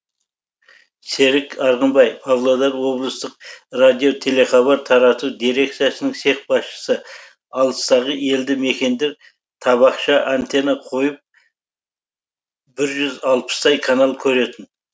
серік арғынбай павлодар облыстық радиотелехабар тарату дирекциясының цех басшысы алыстағы елді мекендер табақша антенна қойып бір жүз алпыстай канал көретін